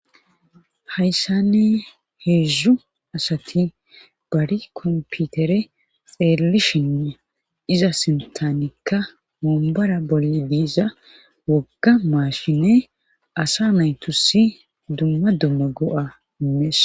hayssanne heedzdzu asati bari komputere xeelelishine iza sintanikka moombora bolli diiza wogga maashine asa naytusi dumma dumma go7a inmees